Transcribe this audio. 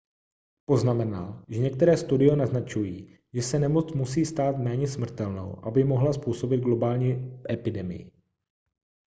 poznamenal že některé studie naznačují že se nemoc musí stát méně smrtelnou aby mohla způsobit globální epidemii